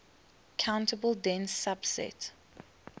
countable dense subset